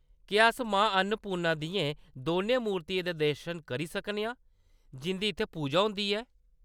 क्या अस मां अन्नपूर्णा दियें दौनें मूर्तियें दे दर्शन करी सकने आं जिंʼदी इत्थै पूजा होंदी ऐ?